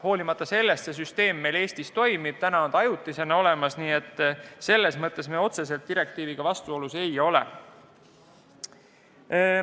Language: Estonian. Hoolimata sellest see süsteem meil Eestis toimib, see on ajutisena olemas, nii et selles mõttes otsest vastuolu direktiiviga ei ole.